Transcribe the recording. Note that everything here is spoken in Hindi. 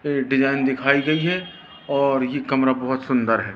डिजाइन दिखाई गई है और ये कमरा बहुत सुंदर है।